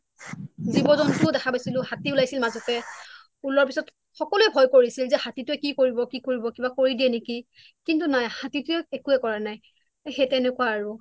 জীৱ জন্তুও দেখা পাইছিলো হাতী উলাইছিল মাজতে ওলোৱাৰ পিছত সকলোৱে ভয় কৰিছিল যে হতিতুই কি কৰিব কি কৰিব কিবা কৰি দিয়ে নেকি কিন্তু নাই হাতি টোৱে একোৱে কৰা নাই তেনেকুৱা আৰু